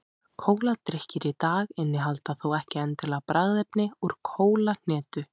Kóladrykkir í dag innihalda þó ekki endilega bragðefni úr kólahnetu.